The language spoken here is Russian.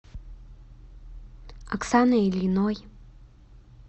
оксаной ильиной